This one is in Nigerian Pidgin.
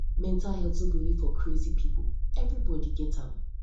mental health no be for only crazy pipo everybody get am